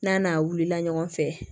N'a n'a wulila ɲɔgɔn fɛ